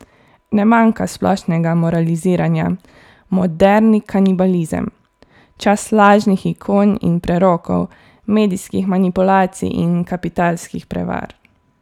Ne manjka splošnega moraliziranja: 'moderni kanibalizem', 'čas lažnih ikon in prerokov, medijskih manipulacij in kapitalskih prevar'.